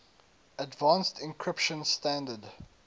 advanced encryption standard